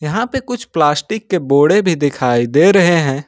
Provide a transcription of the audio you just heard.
यहां पे कुछ प्लास्टिक के बोडे भी दिखाई दे रहे हैं।